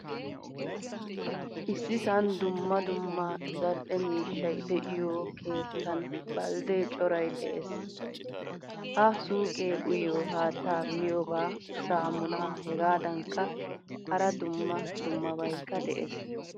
Issisan dumma dumma zal'ee miishshay de'iyo keettan baldde coray de'ees. Ha suuqqe uuyiyo haattaa miyoba saamunaa hegadankka hara dumma dummabaykka de'ees.